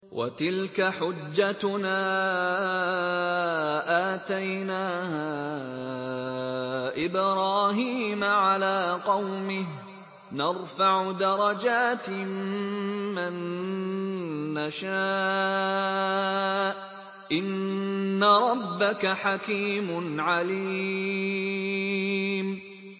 وَتِلْكَ حُجَّتُنَا آتَيْنَاهَا إِبْرَاهِيمَ عَلَىٰ قَوْمِهِ ۚ نَرْفَعُ دَرَجَاتٍ مَّن نَّشَاءُ ۗ إِنَّ رَبَّكَ حَكِيمٌ عَلِيمٌ